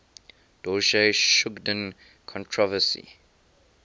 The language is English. dorje shugden controversy